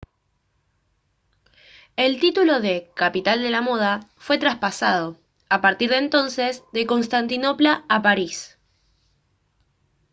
el título de «capital de la moda» fue traspasado a partir de entonces de constantinopla a parís